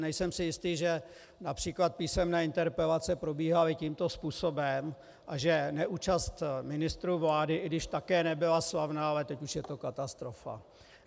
Nejsem si jistý, že například písemné interpelace probíhaly tímto způsobem a že neúčast ministrů vlády, i když také nebyla slavná, ale teď už je to katastrofa.